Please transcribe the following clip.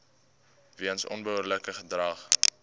weens onbehoorlike gedrag